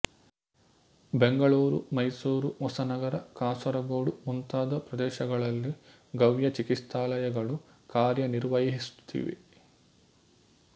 ಬೆಂಗಳೂರು ಮೈಸೂರು ಹೊಸನಗರ ಕಾಸರಗೋಡು ಮುಂತಾದ ಪ್ರದೇಶಗಳಲ್ಲಿ ಗವ್ಯ ಚಿಕಿತ್ಸಾಲಯಗಳು ಕಾರ್ಯನಿರ್ವಹಿಸುತ್ತಿವೆ